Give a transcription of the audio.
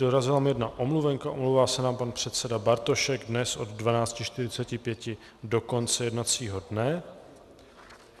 Dorazila mi jedna omluvenka, omlouvá se nám pan předseda Bartošek dnes od 12.45 do konce jednacího dne.